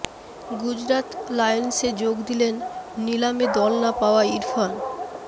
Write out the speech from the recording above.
গুজরাত লায়ন্সে যোগ দিলেন নিলামে দল না পাওয়া ইরফান